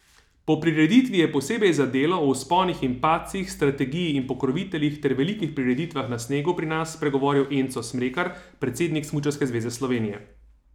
Po prireditvi je posebej za Delo o vzponih in padcih, strategiji in pokroviteljih ter velikih prireditvah na snegu pri nas spregovoril Enzo Smrekar, predsednik Smučarske zveze Slovenije.